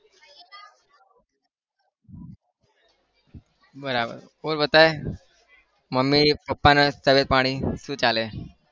બરાબર બોલ बताई મમ્મી પપ્પાના તબિયત પાણી શું ચાલે?